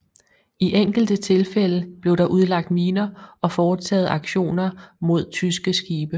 I enkelte tilfælde blev der udlagt miner og foretaget aktioner mod tyske skibe